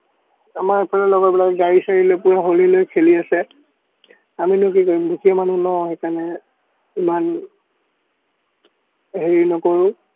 আমাৰ এইফালে লগৰবিলাকে গাড়ী-চাৰি লৈ পুৰা হলি খেলি আছে। আমিনো কি কৰিম, দুখীয়া মানুহ ন সেইকাৰণে ইমান হেৰি নকৰো।